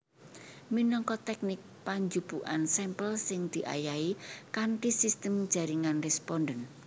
Minangka tèknik panjupukan sampel sing diayahi kanthi sistem jaringan responden